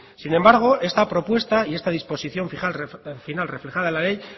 sin embargo esta propuesta y esta disposición final reflejada en la ley